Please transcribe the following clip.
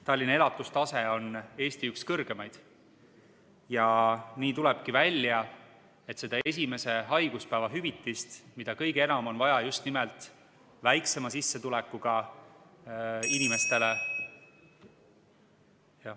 Tallinna elatustase on Eesti üks kõrgemaid ja nii tulebki välja, et seda esimese haiguspäeva hüvitist, mida kõige enam on vaja just nimelt väiksema sissetulekuga inimestele ...